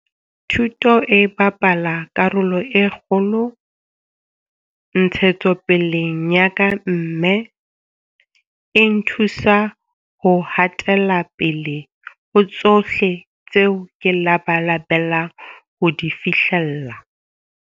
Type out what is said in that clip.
Thuto e bapala karolo e kgolo ntshetsopeleng ya ka mme e nthusa ho ha tela pele ho tsohle tseo ke labalabelang ho di fihlella.